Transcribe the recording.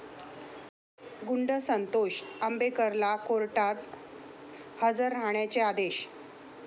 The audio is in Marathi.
गुंड संतोष आंबेकरला कोर्टात हजर राहण्याचे आदेश